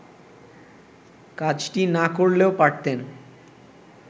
কাজটি না করলেও পারতেন